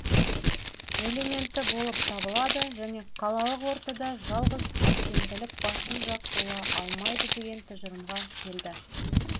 элементі болып табылады және қалалық ортада жалғыз әсемділік басым жақ бола алмайды деген тұжырымға келді